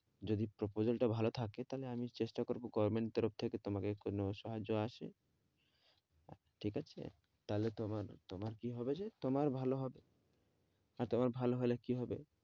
যদি proposal টা ভালো থাকে তাহলে আমি চেষ্টা করবো government তরফ থেকে তোমাকে কোনো সাহায্য আসে ঠিক আছে তাহলে তোমার কি হবে যে তোমার ভালো হবে আর তোমার ভালো হলে কি হবে?